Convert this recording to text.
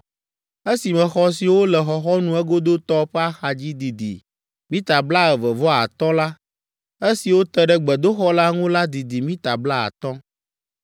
Esime xɔ siwo le xɔxɔnu egodotɔ ƒe axadzi didi mita blaeve vɔ atɔ̃ la, esiwo te ɖe gbedoxɔ la ŋu la didi mita blaatɔ̃.